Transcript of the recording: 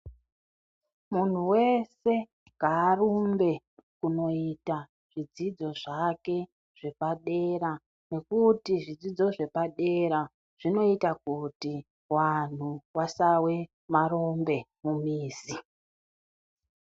Munhu wese ngaarumbe kunoita zvidzidzo zvake zvepadera nekuti zvidzidzo zvepadera zvinoita kuti vanhu vasawe marombe mumizi.